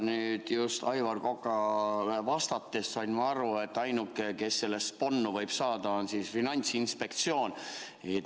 Nüüd just Aivar Kokale vastusest sain ma aru, et ainuke, kes sellest kasu võib saada, on Finantsinspektsioon.